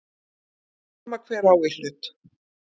Sama hver á í hlut.